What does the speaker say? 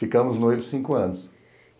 Ficamos noivos cinco anos.